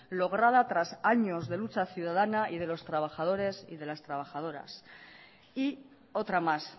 lograda tras años de lucha ciudadana y de los trabajadores y de las trabajadoras y otra más